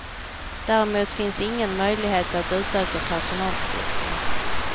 Däremot finns ingen möjlighet att utöka personalstyrkan.